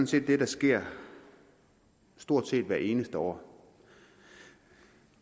set det der sker stort set hvert eneste år